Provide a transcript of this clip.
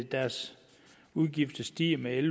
deres udgifter stiger med en